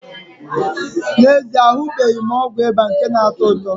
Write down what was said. N'ezie, ahụbeghị m ọgwụ ịba nke na-atọ ụtọ.